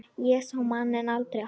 Ég sá manninn aldrei aftur.